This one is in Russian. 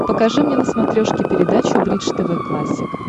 покажи мне на смотрешке передачу бридж тв классик